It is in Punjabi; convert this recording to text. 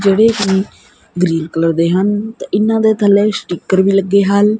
ਜੇਹੜੇ ਕੀ ਗ੍ਰੀਨ ਕਲਰ ਦੇ ਹਨ ਤੇ ਇਹਨਾਂ ਦੇ ਥੱਲੇ ਸਟਿੱਕਰ ਵੀ ਲੱਗੇ ਹਨ।